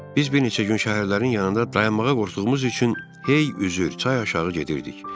Biz bir neçə gün şəhərlərin yanında dayanmağa qorxduğumuz üçün heyy üzür çay aşağı gedirdik.